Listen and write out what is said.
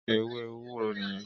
Éwé éwúró niyèn